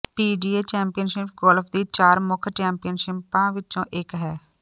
PGA championship golf ਦੀ ਚਾਰ ਮੁੱਖ ਚੈਂਪੀਅਨਸ਼ਿਪਾਂ ਵਿੱਚੋਂ ਇੱਕ ਹੈ